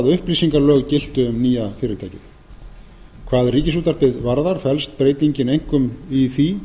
upplýsingalög giltu um nýja fyrirtækið hvað ríkisútvarpið varðar felst breytingin einkum í því